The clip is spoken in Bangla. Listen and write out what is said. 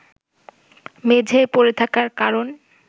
মেঝেয় পড়ে থাকার কারণ